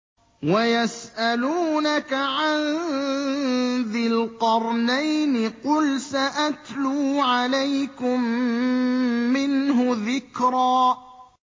وَيَسْأَلُونَكَ عَن ذِي الْقَرْنَيْنِ ۖ قُلْ سَأَتْلُو عَلَيْكُم مِّنْهُ ذِكْرًا